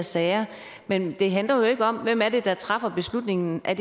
sager men det handler jo ikke om hvem det er der træffer beslutningen er